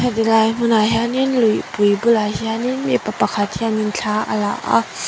helai hmunah hianin lupui bulah hianin mipa pakhat hianin thla a la a.